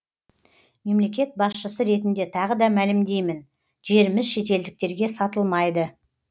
мемлекет басшысы ретінде тағы да мәлімдеймін жеріміз шетелдіктерге сатылмайды